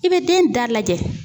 I bɛ den da lajɛ.